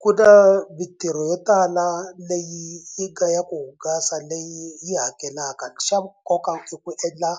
Ku na mintirho yo tala leyi yi nga ya ku hungasa leyi yi hakelaka xa nkoka i ku endla